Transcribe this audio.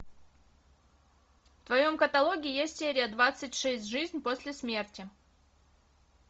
в твоем каталоге есть серия двадцать шесть жизнь после смерти